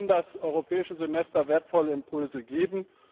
Hier kann das Europäische Semester wertvolle Impulse geben.